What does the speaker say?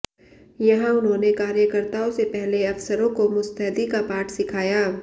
यहां उन्होंने कार्यकर्ताओं से पहले अफसरों को मुस्तैदी का पाठ सिखाया